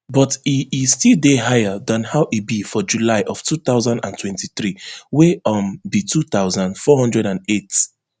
but e e still dey higher dan how e be for july of two thousand and twenty-three wey um be two thousand, four hundred and eight